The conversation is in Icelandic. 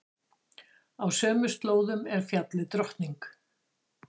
Á sömu slóðum er fjallið Drottning.